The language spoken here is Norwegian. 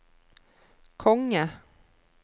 konge